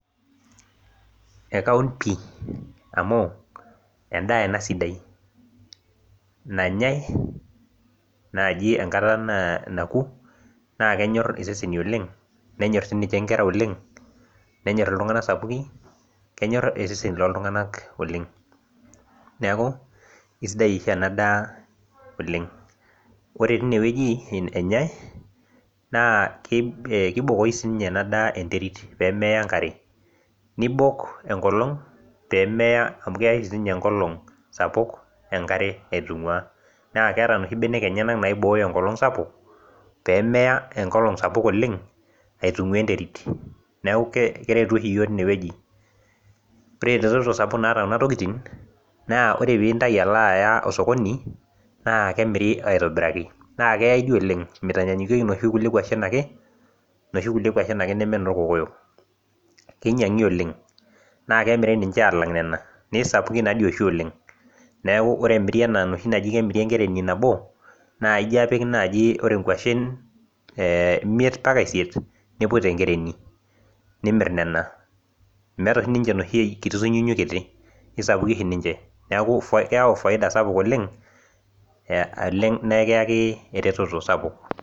Ekaun pii, amu edaa ena sidai, nanyae naaji enkata naku, naa kenyor iseseni oleng, menyor nkera oleng, menyor iltunganak Sapuki, kenyor iseseni looltunganak oleng. neeku kisidai oshi ena daa oleng .ore tine wueji enyae, naa kiboo oshi sii ninye ena daa enterit pee meyau enkare, nibok enkolong',pee meya, amu keya oshi sii ninye enkolong' sapuk enkare .naakeya inoshi benek enyenak naibooyo enkolong' sapuk, pee meya enkolong' oleng, aitungua enterit. neeku keretu oshi iyiook tine wueji. oreb eretoto sapuk naata nema tokitin ore pee intayu alo aya osokoni naa kemiri aitobiraki. meitanyaanyukieki inoshi naijo inoorkokoyok. kinyuangi oleng. naa kemiri alang' nena. naa ore inoshi naamiri enkereni nabo, naijo apik naaji ore nkwashen imiet mpaka isiet. nimir nena. neeku keyau faida sapuk oleng nikiyaki eretoto sapuk.